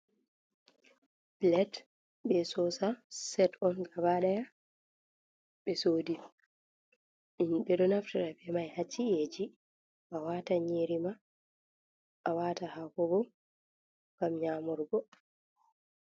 Plet be sosa, set on gaba ɗaya ɓe sodi. Ɓe ɗo naftira be mai ha ci'eji. A wata nyiri ma, a wata hako bo, ngam nyamurgo.